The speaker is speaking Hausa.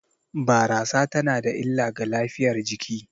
Barasa tana da illa ga lafiyar jiki